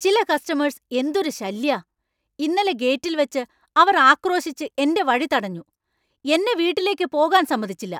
ചില കസ്റ്റമേഴ്സ് എന്തൊരു ശല്യാ. ഇന്നലെ ഗേറ്റിൽവെച്ച് അവർ ആക്രോശിച്ച്‌ എന്‍റെ വഴി തടഞ്ഞു, എന്നെ വീട്ടിലേക്ക് പോകാൻ സമ്മതിച്ചില്ല !